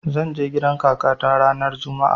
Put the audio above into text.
Zan je gidan kakata ranar juma'a